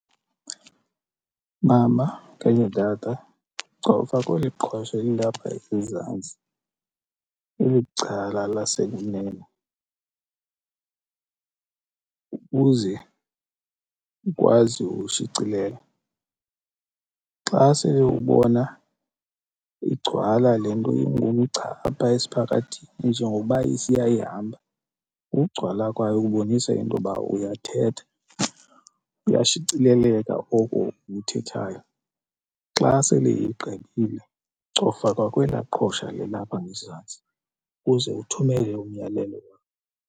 Mama okanye tata cofa kweli qhosha elilapha ezantsi eli cala lasekunene ukuze ukwazi ushicilela. Xa sele ubona igcwala le nto ingumgca apha esiphakathini njengokuba isiya ihamba ukugcwala kwayo kubonisa intoba uyathetha kuyashicileleka oko ukuthethayo. Xa sele igqibile cofa kwa kwelaa qhosha lilapha ngezantsi ukuze uthumele umyalelo wakho.